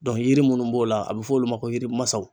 Dɔn yiri munnu b'o la a be f'olu ma ko yirimasaw